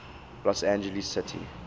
los angeles city